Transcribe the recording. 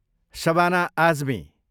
Shabana Azmi